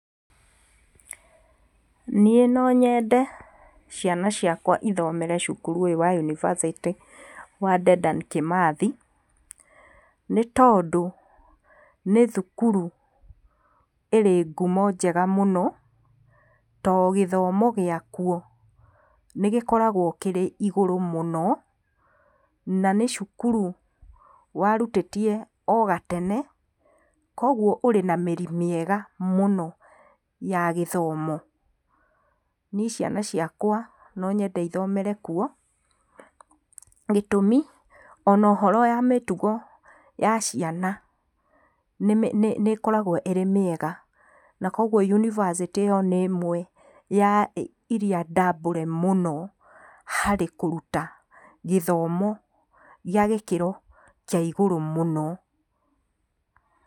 Niĩ no nyende ciana ciakwa ithomere cukuru ũyũ wa yunibacĩtĩ a Dedan kĩmathi nĩ tondũ nĩ thukuru ĩrĩ ngumo njega mũno to gĩthomo gĩakuo nĩ gĩkoragwo kĩrĩ igũrũ mũno na nĩ cukuru warutĩtie o gatene kwoguo ũrĩ na mĩri mĩega mũno ya gĩthomo. Niĩ ciana ciakwa no nyende ithomere kuo gĩtũmi ona ũhoro wa mĩtugo ya ciana nĩ ĩkoragwo ĩrĩ mĩega na kwoguo yunibacĩtĩ ĩyo nĩ ĩmwe ya iria ndambũre mũno harĩ kũruta gĩthomo gĩa gĩkĩro kĩa igũrũ mũno.